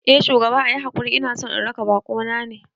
Eh shugaba, ayi hakuri inason na raka bakona ne